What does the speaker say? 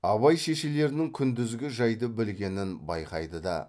абай шешелерінің күндізгі жайды білгенін байқайды да